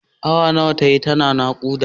Awa nawa tayi tana naƙuda?